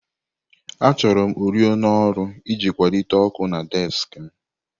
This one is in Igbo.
Achọrọm oriọna ọrụ iji akwalite ọkụ na désik m